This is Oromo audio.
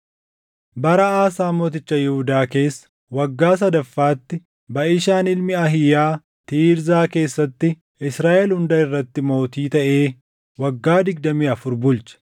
Bara Aasaa mooticha Yihuudaa keessa waggaa sadaffaatti Baʼishaan ilmi Ahiiyaa Tiirzaa keessatti Israaʼel hunda irratti mootii taʼee waggaa digdamii afur bulche.